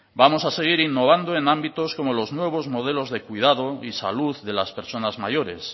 vamos a seguir innovando en ámbitos como los nuevos modelos de cuidado y salud de las personas mayores